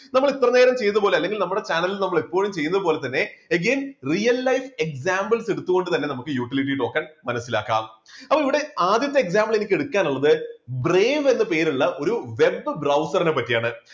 നമ്മൾ ഇത്രയും നേരം ചെയ്തപോലെ അല്ലെങ്കിൽ നമ്മളുടെ ചാനൽ നമ്മൾ എപ്പോഴും ചെയ്യുന്ന പോലെ തന്നെ again real life examples എടുത്തു കൊണ്ട് തന്നെ നമുക്ക് utility token മനസ്സിലാക്കാം. അപ്പോ ഇവിടെ ആദ്യത്തെ example എനിക്ക് എടുക്കാൻ ഉള്ളത് brave എന്നു പേരുള്ള ഒരു web browser നെ പറ്റിയാണ്.